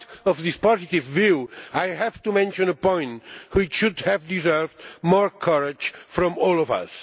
In spite of this positive view, I have to mention a point which should have deserved more courage from all of us.